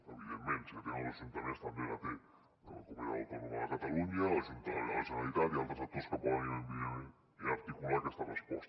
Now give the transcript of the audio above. evidentment si la tenen els ajuntaments també la té la comunitat autònoma de catalunya la generalitat i altres actors que poden evidentment articular aquesta resposta